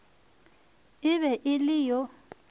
e be e le yo